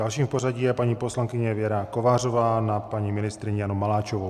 Další v pořadí je paní poslankyně Věra Kovářová na paní ministryni Janu Maláčovou.